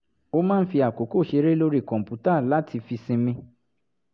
ó máa ń fi àkókò ṣeré lórí kọ̀ǹpútà láti fi sinmi